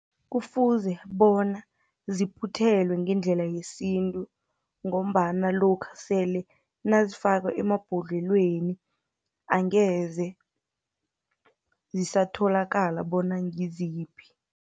Kufuze bona ziphuthelwe ngendlela yesintu, ngombana lokha sele nazifakwa emabhodlelweni, angeze zisatholakala bona ngiziphi.